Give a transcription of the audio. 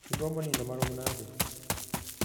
igombo nindo marom nade?